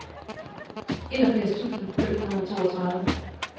enogfirs tusind fem hundrede og treogtredive